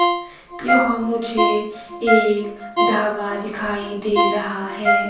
यह मुझे एक ढाबा दिखाई दे रहा है।